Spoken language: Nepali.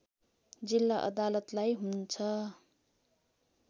जिल्ला अदालतलाई हुन्छ